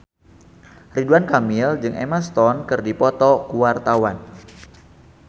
Ridwan Kamil jeung Emma Stone keur dipoto ku wartawan